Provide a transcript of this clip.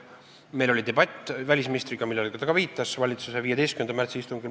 Meil oli debatt välisministriga, millele ta ka viitas, valitsuse 15. märtsi istungil.